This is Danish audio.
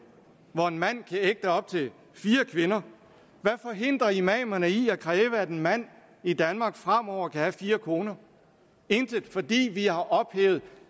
hvor en mand kan ægte op til fire kvinder hvad forhindrer imamerne i at kræve at en mand i danmark fremover kan have fire koner intet fordi vi har ophævet